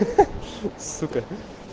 ха сука